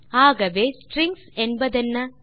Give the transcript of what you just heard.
ஆகவே ஸ்ட்ரிங்ஸ் என்பதென்ன